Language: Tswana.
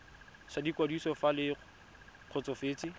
sa ikwadiso fa le kgotsofetse